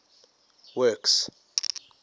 works